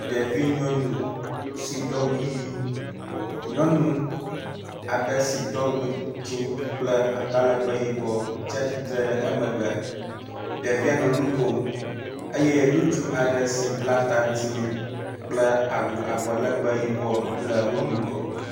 Ɖevi nyɔnu si do awu ʋi. Nyɔnu aɖe si do awu dzɛ̃ kple atalegbẽ yibɔ tsi atsitre ɖe emegbe. Ɖevia nɔ nu kom eye ŋutsu aɖe si bla ta dzɛ̃ kple awu abɔ legbe le wo ŋgɔ.